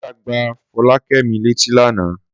Sọ́jà gba Fọlákẹ́mi létí lánàá.